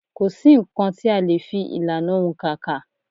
Kò sí nǹkan tí a lè fi ìlànà òǹkà kà.